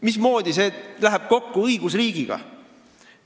Mismoodi see läheb kokku õigusriigiga?